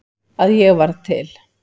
Að ég varð til.